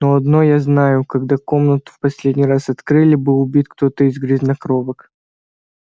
но одно я знаю когда комнату в последний раз открыли был убит кто-то из грязнокровок